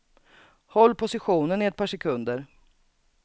Håll positionen i ett par sekunder.